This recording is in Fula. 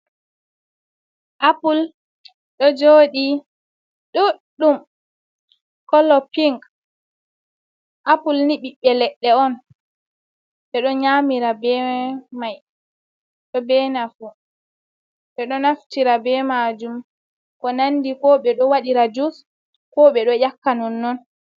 Appul ɗo jooɗii ɗuɗɗum kolo pink, appul ni ɓiɓɓe leɗɗe on ɓeɗo nyamira be mai ɗo be nafu, ɓeɗo naftira be majum ko nandi ko ɓe ɗo waɗira jus ko ɓe ɗo nyakka non non.